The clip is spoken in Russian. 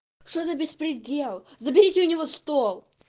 что за беспредел заберите у него стол